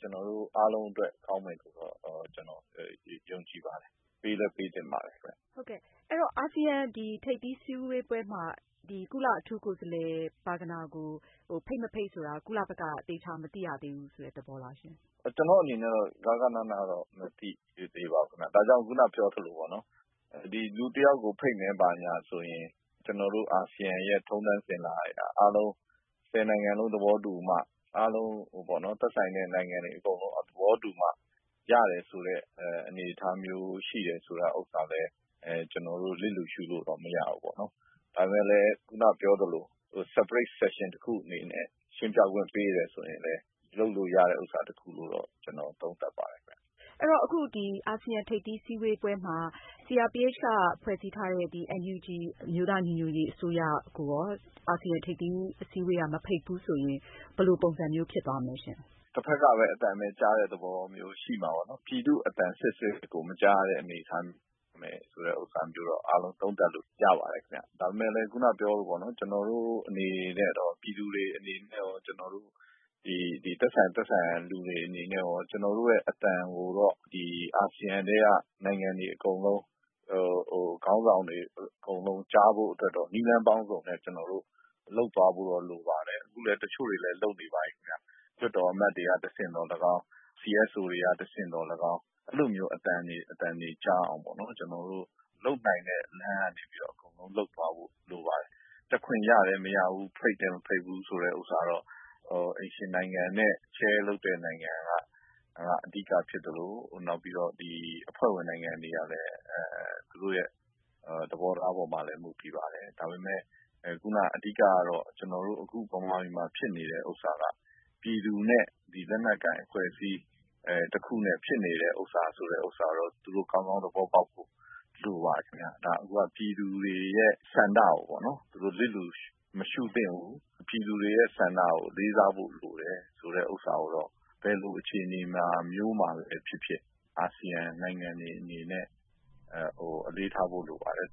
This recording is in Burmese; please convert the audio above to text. ကျနော်တို့ အားလုံးအတွက် ကောင်းမယ်လို့ ကျနော်ယုံကြည်ပါတယ်။ ပေးလည်းပေးသင့်ပါတယ်။ ဟုတ်ကဲ့ အဲဒီတော့ အာဆီယံ ထိပ်သီးစည်းဝေးပွဲမှာ ကုလအထူးကိုယ်စားလှယ် Burgener ကို ဖိတ်မဖိတ်ဆိုတာ ကုလဘက်က သေချာမသိရသေးဘူးဆိုတဲ့ သဘောလားရှင့်။ ကျနော့်အနေနဲ့တော့ ဂဃနဏ တော့ မသိသေးပါဘူးခင်ဗျ။ ဒါကြောင့် ခုနကပြောသလိုပေါ့နော် လူတယောက်ကို ဖိတ်မယ်ဆိုရင် ကျနော်တို့ အာဆီယံ ထုံးတန်းအစဉ်အလာအရ ၁၀ နိုင်ငံလုံးသဘောတူမှ အားလုံး သက်ဆိုင်တဲ့နိုင်ငံတွေအကုန်လုံး သဘောတူမှ ရတယ်ဆိုတဲ့ အနေအထားမျိုးရှိတယ်ဆိုတာလည်း ကျနော်တို့ လစ်လျူရှုလို့မရဘူး။ ဒါပေမယ့် ခုနကပြောသလို separate section တခုအနေနဲ့ ရှင်းပြခွင့်ပေးတယ်ဆိုရင်လည်း လုပ်လို့ရတာတခုလို့တော့ ကျနော်တို့ သုံးသပ်ပါတယ်။ အဲဒီတော့ အာဆီယံထိပ်သီးအစည်းအဝေးပွဲမှာ CRPH က ဖွဲ့စည်းထားတဲ့ NUG အမျိုးသား ညီညွတ်ရေးအစိုးရကိုရော အာဆီယံထိပ်သီးအစည်းအဝေးပွဲက မဖိတ်ဘူးဆိုရင် ဘယ်လိုပုံစံမျိုး ဖြစ်သွားမလဲရှင့်။ တဖက်ကပဲ အသံကြားတဲ့ သဘောမျိုး ဖြစ်မှာပေါ့နော်။ ပြည်သူ့အသံ စစ်စစ်ကို မကြားရတဲ့အနေအထားမျိုးတော့ သုံးသပ်လို့ရပါတယ်။ ဒါပေမယ့်လည်း ခုနပြောသလို ကျနော်တို့အနေနဲ့ရော ပြည်သူတွေအနေနဲ့ရော သက်ဆိုင်တဲ့လူတွေအနေနဲ့ရော ကျနော်တို့ရဲ့ အသံကိုတော့ အာဆီယံထဲက နိုင်ငံတွေအကုန်လုံး ခေါင်းဆောင်တွေအကုန်လုံး ကြားဖို့အတွက်တော့ နည်းလမ်းပေါင်းစုံနဲ့ လုပ်သွားဖို့တော့ လိုပါမယ် အခုလည်း တချို့တွေတော့ လုပ်နေပါပြီခင်ဗျ။ လွှတ်တော်အမတ်တွေကတဆင့်သော်လည်းကောင်း CSO တွေက တဆင့်သော်လည်းကောင်း အဲလိုမျိုး အသံတွေကြားအောင်ပေါ့နော် ကျနော်တို့ လုပ်နိုင်တဲ့ လမ်းကနေပြီးတော့ အကုန်လုံးလုပ်သွားဖို့ လိုပါတယ်။ တက်ခွင့်ရတယ် မရဘူး၊ ဖိတ်တယ် မဖိတ်ဘူး ဆိုတာကတော့ အိမ်ရှင်နိုင်ငံနဲ့ chair လုပ်တဲ့ နိုင်ငံက အဓိကဖြစ်သလို အဖွဲ့ဝင်နိုင်ငံတွေရဲ့ သဘောထားအပေါ်မှာလည်း မူတည်ပါတယ်။ ဒါပေမယ့် ခုန အဓိကတော့ ကျနော်တို့ မြန်မာပြည်မှာ ဖြစ်နေတာက ပြည်သူနဲ့ လက်နက်ကိုင်အဖွဲ့အစည်း တခုနဲ့ ဖြစ်နေတဲ့ဥစ္စာကို သူတို့ ကောင်းကောင်း သဘောပေါက်ဖို့ လိုပါတယ်။ အခုက ပြည်သူတွေရဲ့ ဆန္ဒကိုပေါ့နော် သူတို့ လစ်လျူမရှုသင့်ဘူး။ ပြည်သူတွေရဲ့ ဆန္ဒကိုလေးစားဖို့ လိုတယ်ဆိုတာကိုတော့ ဘယ်လိုအခြေအနေမျိုးမှာဖြစ်ဖြစ် အာဆီယံနိုင်ငံတွေအနေနဲ့ အလေးထားဖို့လိုပါတယ်